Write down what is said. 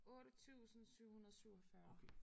8747